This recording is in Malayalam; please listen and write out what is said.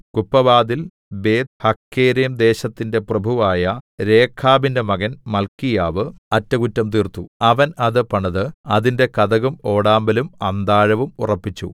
കുപ്പവാതിൽ ബേത്ത്ഹഖേരെംദേശത്തിന്റെ പ്രഭുവായ രേഖാബിന്റെ മകൻ മല്ക്കീയാവ് അറ്റകുറ്റം തീർത്തു അവൻ അത് പണിത് അതിന്റെ കതകും ഓടാമ്പലും അന്താഴവും ഉറപ്പിച്ചു